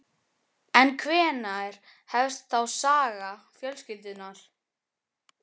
En hvenær hefst þá saga fjölskyldunnar?